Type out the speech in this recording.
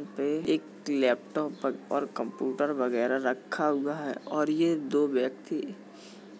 वहाँ पे एक लैपटॉप और कंप्यूटर वगैरा रखा हुआ है और ये दो व्यक्ति